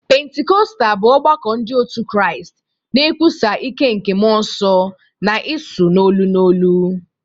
Pentikọstal bụ ọgbakọ ndị otu Kraịst na-ekwusa ike nke Mmụọ Nsọ na ịsụ n'olu n'olu.